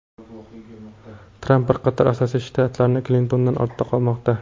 Tramp bir qator asosiy shtatlarda Klintondan ortda qolmoqda.